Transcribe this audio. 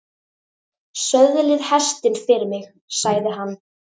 Söðlið hestinn fyrir mig, sagði hann.